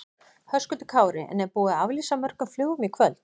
Höskuldur Kári: En er búið að aflýsa mörgum flugum í kvöld?